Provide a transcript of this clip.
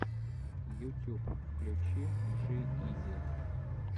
ютюб включи джи изи